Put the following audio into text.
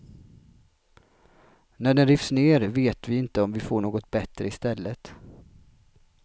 När den rivs ner vet vi inte om vi får något bättre istället.